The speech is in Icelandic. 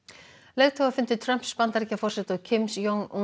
leiðtogafundi Trumps Bandaríkjaforseta og Kims Jong